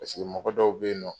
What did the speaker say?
Paseke mɔgɔ dɔw be yen nɔ